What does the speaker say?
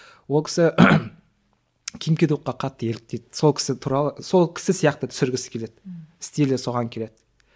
ол кісі ким ки докқа қатты еліктейді сол кісі туралы сол кісі сияқты түсіргісі келеді стилі соған келеді